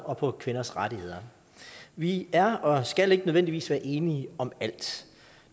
og på kvinders rettigheder vi er og skal ikke nødvendigvis være enige om alt